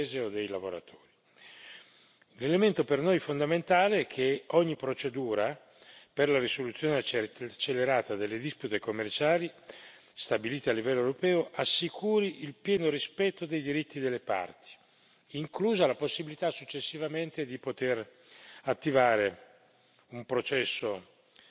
L'elemento per noi fondamentale è che ogni procedura per la risoluzione accelerata delle dispute commerciali stabilita a livello europeo assicuri il pieno rispetto dei diritti delle parti, inclusa la possibilità, successivamente, di poter attivare un processo di carattere giudiziario.